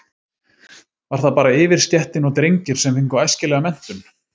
Var það bara yfirstéttin og drengir sem fengu æskilega menntun?